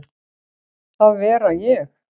að vera ég.